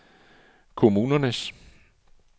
kommunernes